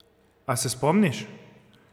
A se spomniš?